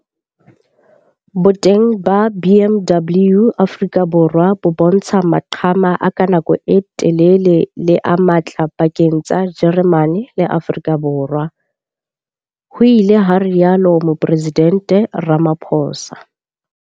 Boteng ba BMW Afrika Borwa bo bontsha maqhama a ka nako e telele le a matla pakeng tsa Jeremane le Afrika Borwa, ho ile ha rialo Moporesidente Ramaphosa.